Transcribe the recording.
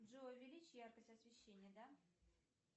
джой увеличь яркость освещения да